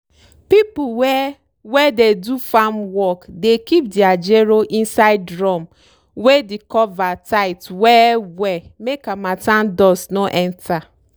people wey wey dey do farm work dey keep dere gero inside drum wey de cover tight well well make harmattan dust no enter.